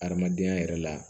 Adamadenya yɛrɛ la